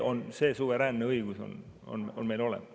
See suveräänne õigus on meil olemas.